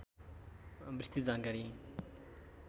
विस्तृत जानकारी